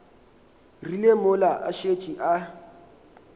rile mola a šetše a